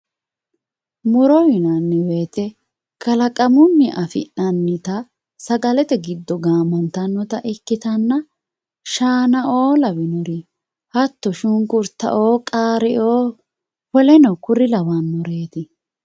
muro yinanni wote kalaqamunni afi'nannita sagalete giddo gaamantannota ikkitanna shaanaoo lawinore hatto shunkurtaoo qaaraoo woleno kuri lawannoreeti.